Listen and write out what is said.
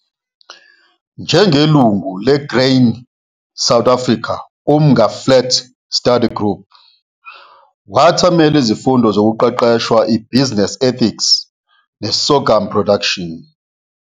Njengelungu le-Grain South Africa Umnga Flats Study Group, wathamela izifundo zokuqeqeshwa i-Business Ethics ne-Sorgum Production.